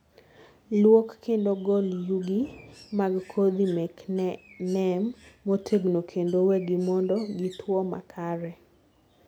luok kendo gol yugi mag kodhi mek neem motegno kendo wegi mondo gituo makare